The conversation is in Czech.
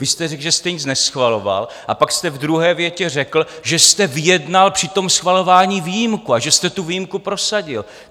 Vy jste řekl, že jste nic neschvaloval, a pak jste v druhé větě řekl, že jste vyjednal při tom schvalování výjimku a že jste tu výjimku prosadil.